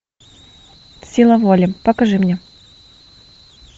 сила воли покажи мне